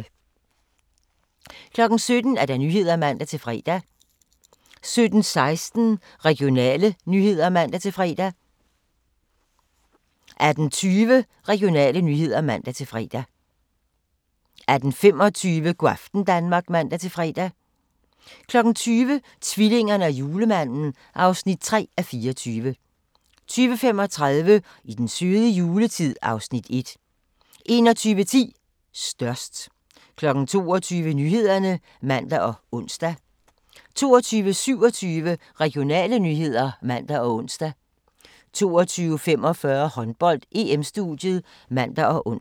17:00: Nyhederne (man-fre) 17:16: Regionale nyheder (man-fre) 18:20: Regionale nyheder (man-fre) 18:25: Go' aften Danmark (man-fre) 20:00: Tvillingerne og Julemanden (3:24) 20:35: I den søde juletid (Afs. 1) 21:10: Størst 22:00: Nyhederne (man og ons) 22:27: Regionale nyheder (man og ons) 22:45: Håndbold: EM-studiet (man og ons)